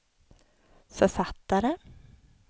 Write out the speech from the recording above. författare